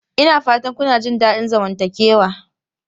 Ina fatan kuna jin daɗin zamantakewa?